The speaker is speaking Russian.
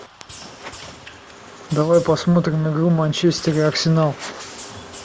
давай посмотрим игру манчестер арсенал